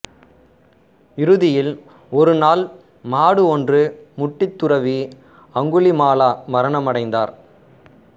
இறுதியில் ஒரு நாள் மாடு ஒன்று முட்டி துறவி அங்குலிமாலா மரணமடைந்தார்